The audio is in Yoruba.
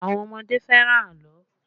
Àwọn ọmọdé fẹ́ràn àlọ́